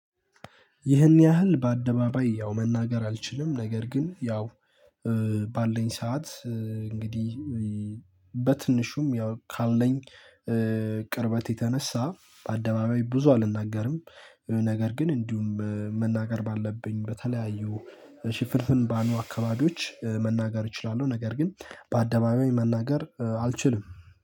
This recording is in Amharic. ይህን ያህል በአደባባይ ያው መናገር አልችልም ነገር ግን ያው ባለኝ ሰዓት እንግዲህ በትንሹም ያው ካለኝ ቅርበት የተነሳ በአደባባይ ብዙ አልናገርም። ነገር ግን እንዲሁም መናገር ባለብኝ በተለያዩ ሽፍንፍን ባሉ አካባቢዎች መናገር እችላለሁ። ነገር ግን በአደባባይ መናገር አልችልም